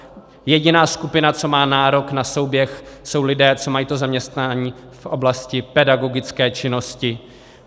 Jediná skupina, co má nárok na souběh, jsou lidé, co mají to zaměstnání v oblasti pedagogické činnosti.